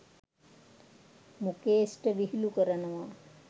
මුකේශ්ට විහිලු කරනවා